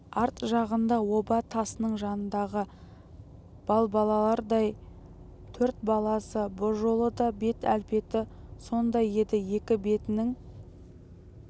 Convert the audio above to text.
арт жағында оба тасының жанындағы балбалалардай төрт баласы бұ жолы да бет-әлпеті сондай еді екі бетінің